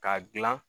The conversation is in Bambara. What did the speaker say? K'a gilan